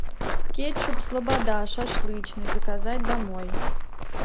кетчуп слобода шашлычный заказать домой